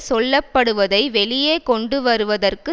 சொல்ல படுவதை வெளியே கொண்டு வருவதற்கு